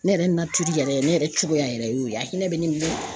Ne yɛrɛ yɛrɛ ne yɛrɛ cogoya yɛrɛ y'o ye a hinɛ bɛ ne minɛ